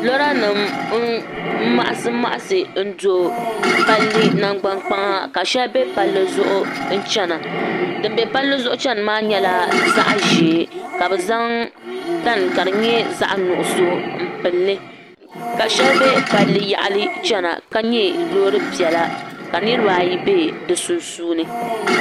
Lora nim n maɣasi maɣasi do palli nangbani kpaŋa ka shɛli bɛ palli zuɣu n chɛna din bɛ palli zuɣu chɛni maa nyɛla zaɣ ʒiɛ ka bi zaŋ tani ka di nyɛ zaɣ nuɣso n pilili ka shɛli bɛ palli yaɣali chɛna ka nyɛ loori piɛla ka niraba ayi bɛ di sunsuuni